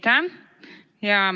Aitäh!